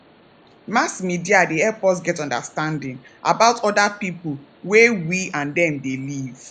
mass media dey help us get understanding about oda people wey we and them dey live